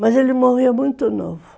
Mas ele morreu muito novo.